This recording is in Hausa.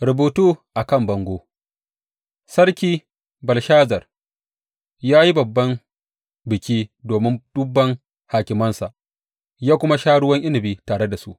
Rubutu a kan bango Sarki Belshazar ya yi babban biki domin dubban hakimansa ya kuma sha ruwan inabi tare da su.